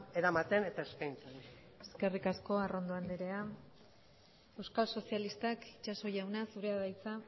eramaten eta eskaintzen eskerrik asko arrondon anderea euskal sozialistak itxaso jauna zurea da hitza